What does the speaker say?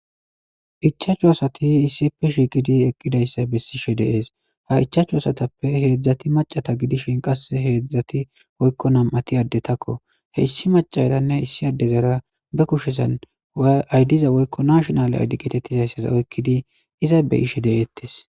ichachu asati issipe shiqidi eqqidayssa bessishe deees ha ichaachu asatappe heedzdzati macata gidishin qasse heedzdzati woykko nam7ati addetakko issi macatanne issi addezara be kushezan aydiza woykko nashonale aydiketettizayssasa oykkidi iza be ishe deeettes